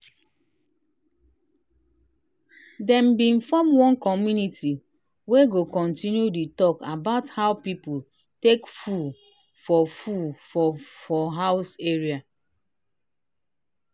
dem been form one committee wey go continue the talk about how people take full for full for house area.